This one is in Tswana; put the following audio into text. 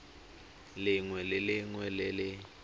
lengwe le lengwe le le